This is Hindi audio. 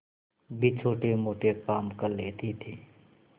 भी छोटेमोटे काम कर लेती थी